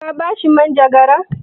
Ka ba shi manjagara?